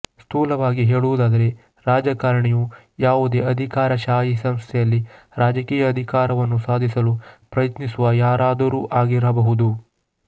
ಸ್ಥೂಲವಾಗಿ ಹೇಳುವುದಾದರೆ ರಾಜಕಾರಣಿಯು ಯಾವುದೇ ಅಧಿಕಾರಶಾಹಿ ಸಂಸ್ಥೆಯಲ್ಲಿ ರಾಜಕೀಯ ಅಧಿಕಾರವನ್ನು ಸಾಧಿಸಲು ಪ್ರಯತ್ನಿಸುವ ಯಾರಾದರೂ ಆಗಿರಬಹುದು